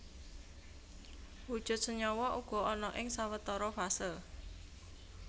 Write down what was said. Wujud senyawa uga ana ing sawetara fase